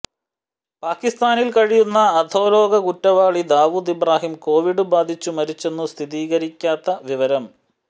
പാക്കിസ്ഥാനിൽ കഴിയുന്ന അധോലോക കുറ്റവാളി ദാവൂദ് ഇബ്രാഹിം കോവിഡ് ബാധിച്ചു മരിച്ചെന്നു സ്ഥിരീകരിക്കാത്ത വിവരം